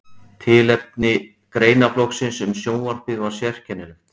Tilefni greinaflokksins um sjónvarpið var sérkennilegt.